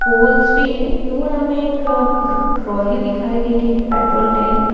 pools भी है यहाँ पे दूर हमे एक ट्रॉली दिखाई दे रही है पेट्रोल टैंक --